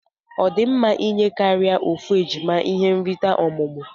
Odimma inye karia ofu ejima ihe nrita ọmụmụ?